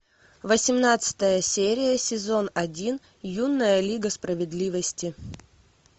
восемнадцатая серия сезон один юная лига справедливости